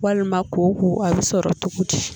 Walima kooko a bɛ sɔrɔ cogo di